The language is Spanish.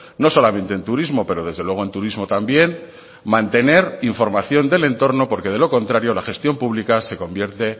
no solamente en turismo pero desde luego en turismo también mantener información del entorno porque de lo contrario la gestión pública se convierte